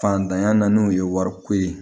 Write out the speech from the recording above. Fantanya naani ye wariko ye